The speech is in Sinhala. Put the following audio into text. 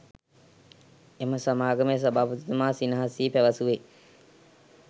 එම සමාගමේ සභාපතිතුමා සිනහ සී පැවසුවේ